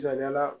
Misaliyala